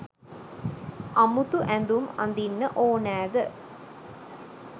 අමුතු ඇදුම් අදින්න ඕනෑද